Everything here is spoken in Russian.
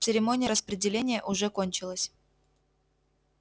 церемония распределения уже кончилась